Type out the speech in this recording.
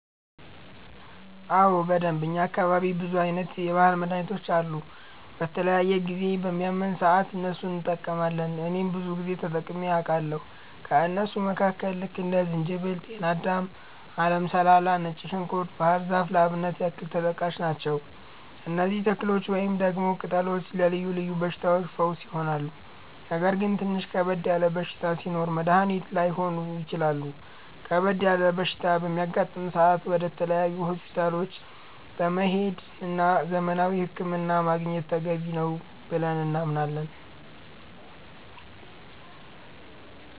አዎ በደንብ፣ እኛ አካባቢ ብዙ አይነት የባህል መድሀኒቶች አሉ። በተለያየ ጊዜ በሚያመን ሰአት እነሱን እንቀማለቸዋለን እኔም ብዙ ጊዜ ተጠቅሜ አቃለሁኝ። ከእነሱም መካከል ልክ እንደ ዝንጅበል፣ ጤናዳም፣ አለም ሰላላ፣ ነጭ ዝንኩርት፣ ባህር ዛፍ ለአብነት ያክል ተጠቃሽ ናቸው። እነዚህ ተክሎች ወይንም ደግሞ ቅጠሎች ለልዮ ልዮ በሽታዎች ፈውስ ይሆናሉ። ነገር ግን ትንሽ ከበድ ያለ በሽታ ሲኖር መድኒት ላይሆኑ ይችላሉ ከበድ ያለ በሽታ በሚያጋጥም ሰአት ወደ ተለያዩ ሆስፒታሎች መሄድ እና ዘመናዊ ህክምና ማግኘት ተገቢ ነው ብለን እናምናለን።